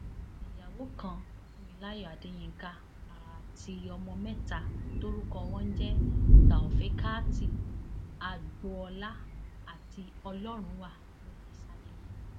ìyàwó kan fúnmilayọ adéyinka ààti ọmọ mẹta tórúkọ wọn ń jẹ taofèékátẹ agbolá àti ọlọrunwá ló fi sáyé lọ